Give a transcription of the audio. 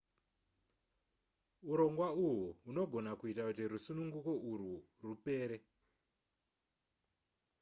urongwa uhwu hunogona kuita kuti rusununguko urwu rupere